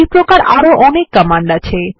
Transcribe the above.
এইপ্রকার আরো অনেক কমান্ড আছে